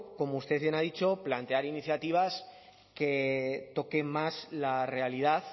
como usted bien ha dicho plantear iniciativas que toquen más la realidad